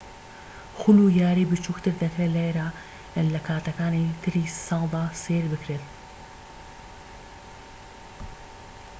خول و یاریی بچووکتر دەکرێت لێرە لە کاتەکانی تری ساڵدا سەیر بکرێن